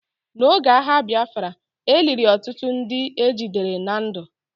N'oge agha Biafra, e liri ọtụtụ ndị ejidere na ndụ.